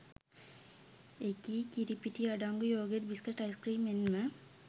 එකී කිරිපිටි අඩංගු යෝගට් බිස්කට් අයිස්ක්‍රීම් මෙන්ම